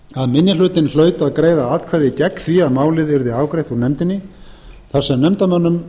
að minni hlutinn hlaut að greiða atkvæði gegn því að málið yrði afgreitt úr nefndinni þar sem nefndarmönnum